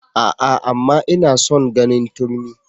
A'a! amma ina son ganin turmi.